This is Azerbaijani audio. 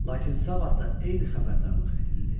Lakin sabah da eyni xəbərdarlıq edildi.